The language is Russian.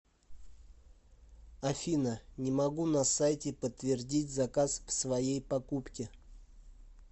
афина не могу на сайте подтвердить заказ в своей покупки